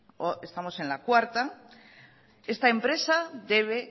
estamos en la cuarta esta empresa debe